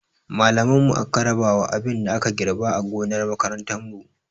Malaman mu aka rabawa abin da aka girɓa a gonar makarantar mu